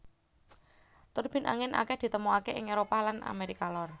Turbin angin akèh ditemokaké ing Éropah lan Amérika Lor